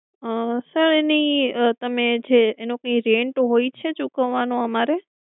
sir એની તમે જે એનો કોઈ rent હોય છે ચૂકવવાનો અમારે